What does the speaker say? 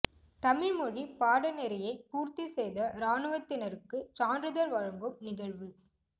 தமிழ் மொழி பாடநெறியை பூர்த்தி செய்த இராணுவத்தினருக்கு சான்றிதழ் வழங்கும் நிகழ்வு